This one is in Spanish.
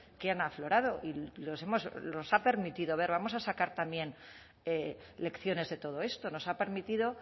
que han aflorado y los ha permitido ver vamos a sacar también lecciones de todo esto nos ha permitido